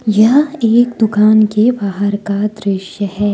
यह एक दुकान के बाहर का दृश्य है।